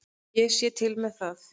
Ég sé til með það.